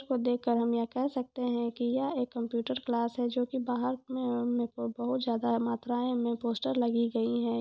यह देख कर हम कह सकते है की ये एक कंप्यूटर क्लास है जो की बहार को बहुत जगह मथुराय पोस्टर लगी गयी है।